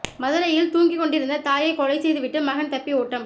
மதுரையில் தூங்கிகொண்டிருந்த தாயை கொலை செய்துவிட்டு மகன் தப்பி ஓட்டம்